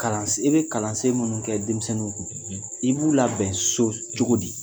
Kalansen i bɛ kalansen minnu kɛ denmisɛnninw kun i b'u labɛn so cogo di?